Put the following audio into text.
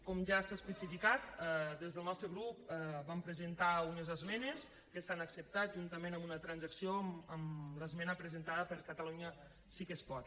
com ja s’ha especificat des del nostre grup hi vam presentar unes esmenes que s’han acceptat juntament amb una transacció amb l’esmena presentada per catalunya sí que es pot